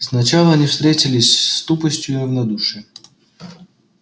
сначала они встретились с тупостью и равнодушием